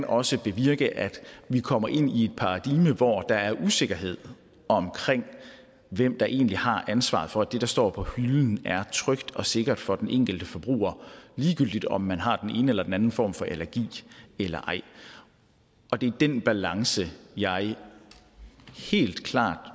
også bevirke at vi kommer ind i et paradigme hvor der er usikkerhed omkring hvem der egentlig har ansvaret for at det der står på hylden er trygt og sikkert for den enkelte forbruger ligegyldigt om man har den ene eller den anden form for allergi eller ej og det er den balance jeg helt klart